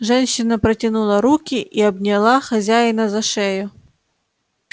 женщина протянула руки и обняла хозяина за шею